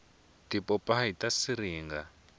tipopayi ta siringa